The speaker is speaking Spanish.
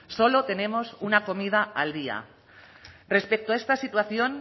solo tenemos una comida al día respecto a esta situación